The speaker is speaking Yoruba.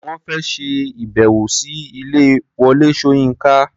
Wọ́n fẹ́ ṣe ìbẹ̀wò sí ilé Wọlé Ṣóyínká.